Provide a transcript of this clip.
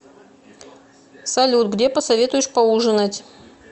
салют где посоветуешь поужинать